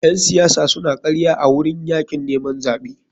Ƴen siyasa suna karya a wurin yakin neman zaɓe.